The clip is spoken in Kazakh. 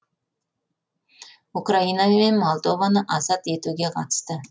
украина мен молдованы азат етуге қатысты